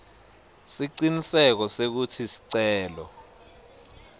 siciniseko sekutsi sicelo